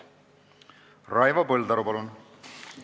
Raivo Põldaru, palun!